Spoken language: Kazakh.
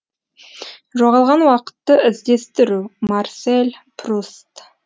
жоғалған уақытты іздестіру марсель пруст